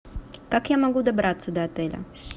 как я могу добраться до отеля